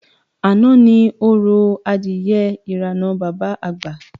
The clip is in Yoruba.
Àná ni orò adìye irànà Bàbá Àgbà